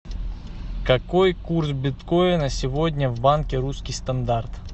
какой курс биткоина сегодня в банке русский стандарт